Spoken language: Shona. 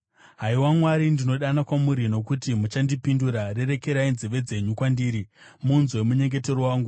Haiwa Mwari, ndinodana kwamuri, nokuti muchandipindura; rerekerai nzeve yenyu kwandiri, munzwe munyengetero wangu.